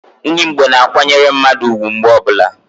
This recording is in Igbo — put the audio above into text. Ndi igbo na-akwanyere mmadu ugwu mgbe ọbula.